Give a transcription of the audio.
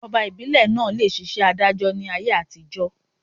Ọba ìbílè naa le ṣiṣẹ́ adájọ́ ni ayé àtijọ́